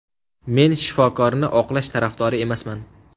Men shifokorni oqlash tarafdori emasman.